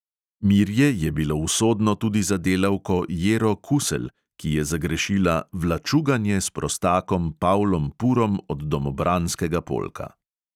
Mirje je bilo usodno tudi za delavko jero kuselj, ki je zagrešila "vlačugajne s prostakom pavlom purom od domobranskega polka".